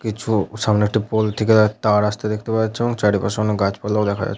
কিছু সামনে একটি পোল থেকে এক তার আসতে দেখতে পাওয়া যাচ্ছে এবং চারিপাশে অনেক গাছপালাও দেখতে পাওয়া যা --